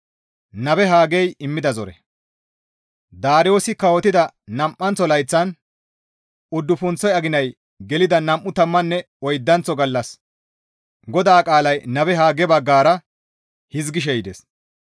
Daariyoosi kawotida nam7anththo layththan uddufunththo aginay gelida nam7u tammanne oydanththo gallas GODAA qaalay nabe Hagge baggara hizgishe yides.